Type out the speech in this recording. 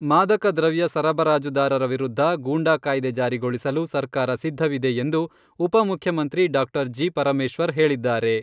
ಮಾದಕ ದ್ರವ್ಯ ಸರಬರಾಜುದಾರರ ವಿರುದ್ಧ ಗೂಂಡಾ ಕಾಯ್ದೆ ಜಾರಿಗೊಳಿಸಲು ಸರ್ಕಾರ ಸಿದ್ಧವಿದೆ ಎಂದು ಉಪ ಮುಖ್ಯಮಂತ್ರಿ ಡಾಕ್ಟರ್ ಜಿ.